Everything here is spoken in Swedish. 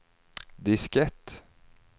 diskett